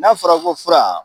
N'a fɔra ko fura